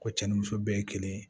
Ko cɛ ni muso bɛɛ ye kelen ye